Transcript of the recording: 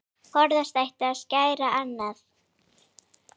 Forðast átti að særa aðra.